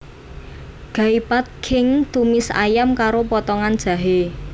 Gai Pad Khing tumis ayam karo potongan jahé